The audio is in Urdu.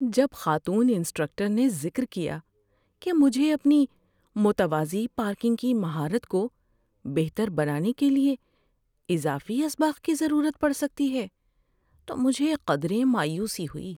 جب خاتون انسٹرکٹر نے ذکر کیا کہ مجھے اپنی متوازی پارکنگ کی مہارت کو بہتر بنانے کے لیے اضافی اسباق کی ضرورت پڑ سکتی ہے تو مجھے قدرے مایوسی ہوئی۔